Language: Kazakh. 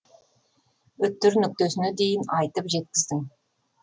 үтір нүктесіне дейін айтып жеткіздің